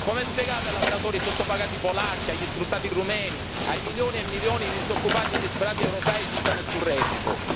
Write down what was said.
Come spiegate ai lavoratori sottopagati polacchi, agli sfruttati rumeni, ai milioni e milioni di disoccupati e disperati europei senza nessun reddito?